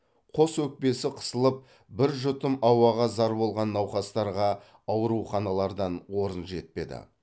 қос өкпесі қысылып бір жұтым ауаға зар болған науқастарға ауруханалардан орын жетпеді